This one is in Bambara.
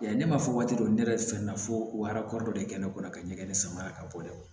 Yan ne m'a fɔ waati dɔ ne yɛrɛ fɛnɛna fo arakɔrɔ dɔ de kɛ ne kɔnɔ ka ɲɛgɛn sama ka bɔ dɛ